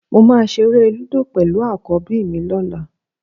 Mo máa ṣeré lúdò pẹ̀lú àkọ́bí mi lọ́la